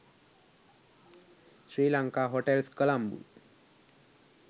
sri lanka hotels colombo